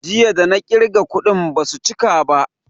Jiya da na ƙirga kuɗin basu chika ba